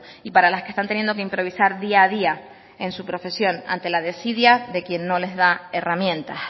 y para las que están teniendo que improvisar día a día en su profesión ante la desidia de quien no les da herramientas